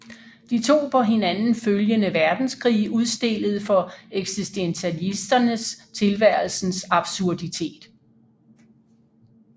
De to på hinanden følgende verdenskrige udstillede for eksistentialisterne tilværelsens absurditet